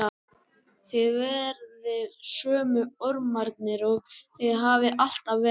Þið verðið sömu ormarnir og þið hafið alltaf verið.